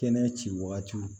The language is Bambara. Kɛnɛ ci waatiw